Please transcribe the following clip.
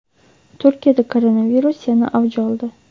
Turkiyada koronavirus yana avj oldi.